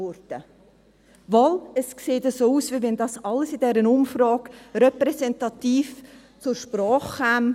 Doch, es sieht danach aus, also ob dies in dieser Umfrage alles repräsentativ zur Sprache käme.